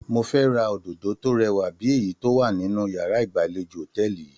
Mo fẹ́ ra òdòdó tó rẹwà bí èyí tó wà nínú yàrá ìgbàlejò hòtẹ́ẹ̀lì yìí.